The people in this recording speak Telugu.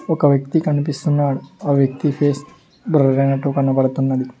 ఒక వ్యక్తి కనిపిస్తున్నాడు ఆ వ్యక్తి పేస్ బ్లర్ అయినట్టు కనబడుతున్నది.